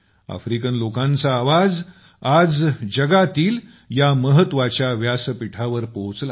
African लोकांचा आवाज जगातील महत्वच्या व्यासपीठावर पोहचला